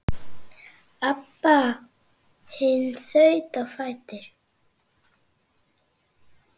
Abba hin þaut á fætur.